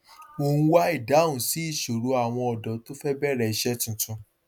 mo ń wá ìdáhùn sí ìṣòro àwọn ọdọ tó fẹ bẹrẹ isẹ tuntun